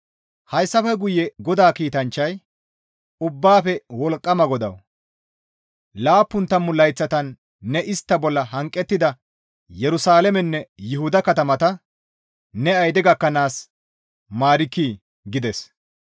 Hessafe guye GODAA kiitanchchay, «Ubbaafe Wolqqama GODAWU! Laappun tammu layththatan ne istta bolla hanqettida Yerusalaamenne Yuhuda katamata ne ayide gakkanaas maarkkii?» gides.